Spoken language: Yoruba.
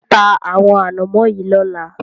Ta àwọn ànámọ́ yìí lọ́la!